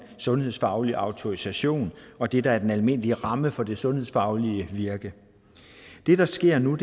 sundhedsfaglig autorisation og det der er den almindelige ramme for det sundhedsfaglige virke det der sker nu